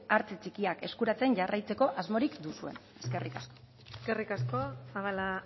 hartze txikiak eskuratzen jarraitzeko asmorik duzuen eskerrik asko eskerrik asko zabala